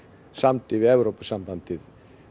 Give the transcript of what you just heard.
samdi við Evrópusambandið